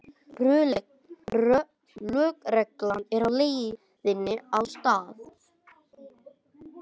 Lögregla er á leiðinni á staðinn